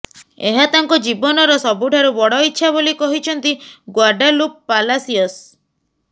ଏହା ତାଙ୍କ ଜୀବନର ସବୁଠାରୁ ବଡ ଇଚ୍ଛା ବୋଲି କହିଛନ୍ତି ଗ୍ବାଡାଲୁପ ପାଲାସିଅସ